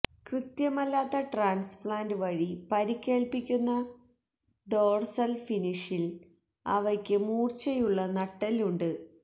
കൃത്യമല്ലാത്ത transplant വഴി പരിക്കേൽപ്പിക്കുന്ന dorsal ഫിനിഷിൽ അവയ്ക്ക് മൂർച്ചയുള്ള നട്ടെല്ല് ഉണ്ട്